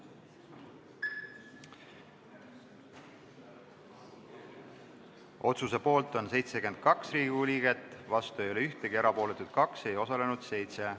Hääletustulemused Otsuse poolt on 72 Riigikogu liiget, vastu ei ole ühtegi, erapooletuid 2, ei osalenud 7.